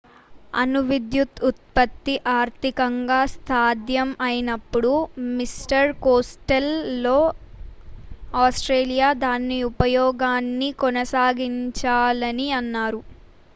అణు విద్యుత్ ఉత్పత్తి ఆర్థికంగా సాధ్యం అయినప్పుడు మిస్టర్ కోస్టెల్లో ఆస్ట్రేలియా దాని ఉపయోగాన్ని కొనసాగించాలని అన్నారు